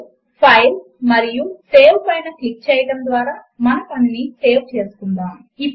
ఉదాహరణకు మనము సైమల్టేనియస్ సమీకరణములను వ్రాయవచ్చు మరియు వాటిని ఈక్వల్ టుకారెక్టర్మీదఆధారపడిఎలైన్చేయవచ్చు